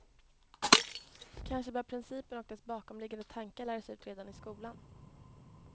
Kanske bör principen och dess bakomliggande tankar läras ut redan i skolan.